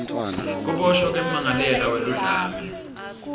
kuboshwa kwemmangalelwa weludlame